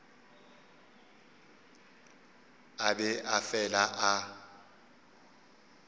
a be a fele a